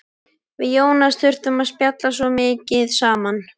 Við Jónas þurftum að spjalla svo mikið saman.